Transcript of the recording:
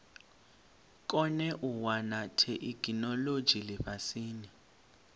kone u wana theikinolodzhi lifhasini